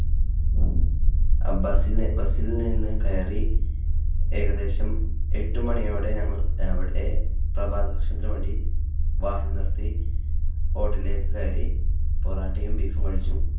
അബ്ബാസിന്റെ ബസ്സിൽ നിന്ന് കയറി ഏകദേശം എട്ട് മണിയോടെ ഞങ്ങൾ അവിടെ പ്രഭാത ഭക്ഷണത്തിനു വേണ്ടി വാഹനം നിർത്തി. hotel ലേക്ക് കയറി പരത യും beef ഉം കഴിച്ചു.